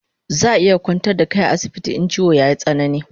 Zaa iya kwantar da kai a asibiti in chiwon yayi tsanani